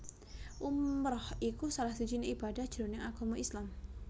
Umrah iku salah sijiné ibadah jroning agama Islam